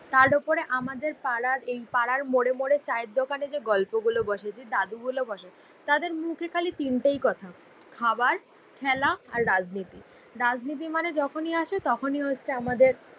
তার ওপরে আমাদের পাড়ার এই পাড়ার মোড়ে মোড়ে চায়ের দোকানে যে গল্পগুলো বসে, যেই দাদুগুলো বসে তাদের মুখে খালি তিনটেই কথা খাবার, খেলা আর রাজনীতি। রাজনীতি মানে যখনই আসে তখনি হচ্ছে আমাদের